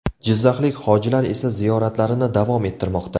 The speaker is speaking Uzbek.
Jizzaxlik hojilar esa ziyoratlarini davom ettirmoqda .